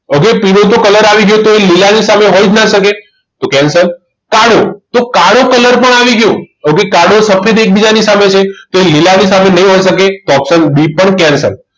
તો પીળો તો colour આવી ગયો એટલે એ લીલા ની સામે તો હોય જ ના શકે તો cancel કાળો તો કાળો colour પણ આવી ગયો. કાળો અને સફેદ એકબીજાની સામે છે તો લીલા ની સામે નહીં હોઈ શકે તો option b પણ cancle